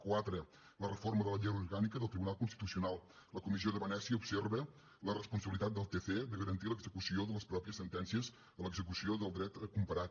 quatre la reforma de la llei orgànica del tribunal constitucional la comissió de venècia observa la responsabilitat del tc de garantir l’execució de les pròpies sentències a l’execució del dret comparat